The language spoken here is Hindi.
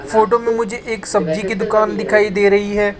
फोटो में मुझे एक सब्जी की दुकान दिखाई दे रही है।